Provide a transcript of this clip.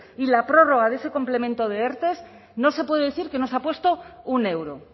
y la prórroga de ese complemento de erte no se puede decir que no se ha puesto un euro